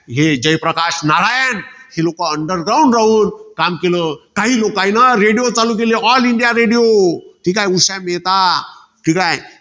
हे जयप्रकाश नारायण. ही लोकं underground राहून काम केलं. काही लोकांनी radio चालू केले. All india radio. ठीकाये. ठीकाये.